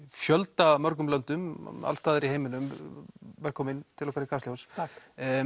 fjöldamörgum löndum alls staðar í heiminum velkominn til okkar í Kastljós takk